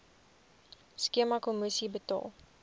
skema kommissie betaal